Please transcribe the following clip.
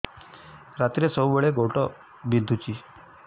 ରାତିରେ ସବୁବେଳେ ଗୋଡ ବିନ୍ଧୁଛି